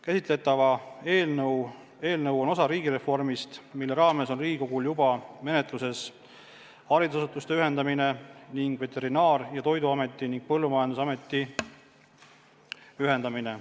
Käsitletav eelnõu on osa riigireformist, mille raames on Riigikogul juba menetluses haridusasutuste ühendamine ning Veterinaar- ja Toiduameti ning Põllumajandusameti ühendamine.